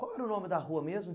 Qual era o nome da rua mesmo?